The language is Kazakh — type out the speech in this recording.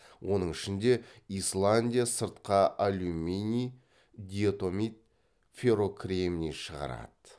оның ішінде исландия сыртқа алюминий диатомит феррокремний шығарады